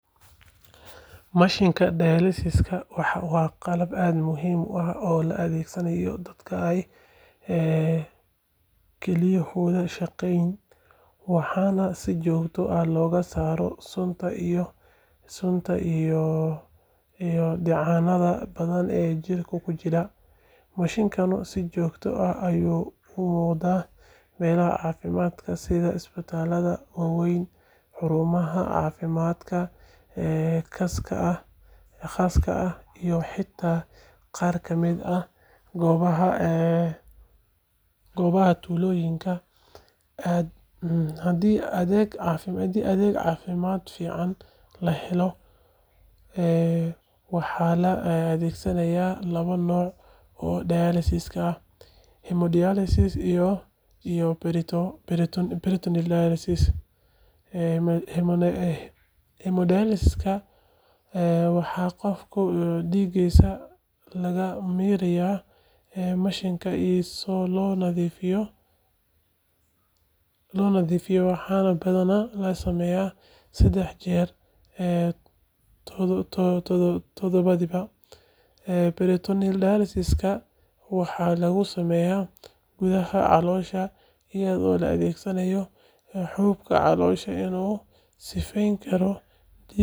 Mashiinka dialysis-ka waa qalab aad muhiim u ah oo loo adeegsado dadka ay kelyahoodu shaqeyn waayaan si jirkooda looga saaro sunta iyo dheecaannada badan ee jirka ku urura. Mashiinkan si joogto ah ayuu u muuqdaa meelaha caafimaadka sida isbitaalada waaweyn, xarumaha caafimaadka khaaska ah, iyo xitaa qaar kamid ah goobaha tuulooyinka haddii adeeg caafimaad fiican la helo. Waxaa la adeegsadaa laba nooc oo dialysis ah: hemodialysis iyo peritoneal dialysis. Hemodialysis-ka waxaa qofka dhiiggiisa laga mariyaa mashiinka si loo nadiifiyo, waxaana badanaa la sameeyaa saddex jeer todobaadkii. Peritoneal dialysis-ka waxaa lagu sameeyaa gudaha caloosha iyadoo la adeegsanayo xuubka caloosha si uu u sifeyn karo dhiigga.